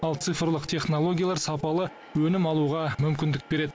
ал цифрлық технологиялар сапалы өнім алуға мүкіндік береді